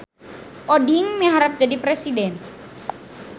Oding miharep jadi presiden